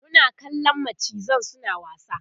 Muna kallan macizan suna wasa